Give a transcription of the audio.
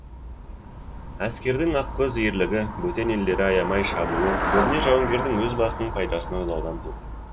әскердің ақкөз ерлігі бөтен елдерді аямай шабуы көбіне жауынгердің өз басының пайдасын ойлаудан